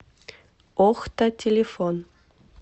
охта телефон